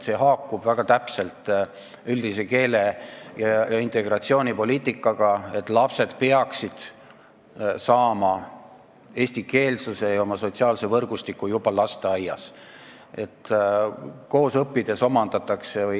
See haakub hästi üldise keele- ja integratsioonipoliitikaga, et lapsed peaksid olema eestikeelses sotsiaalses võrgustikus juba lasteaias.